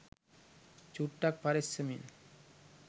චුට්ටක් පරෙස්සමෙන්